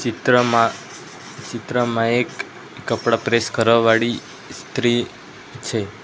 ચિત્રમાં ચિત્રમાં એક કપડાં પ્રેસ કરવા વાળી ઈસ્ત્રી છે.